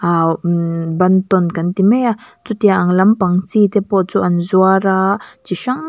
aa ummm bantawn kan ti mai a chutiang ang lampang chi te pawh chu an zuar aaa chi hrang--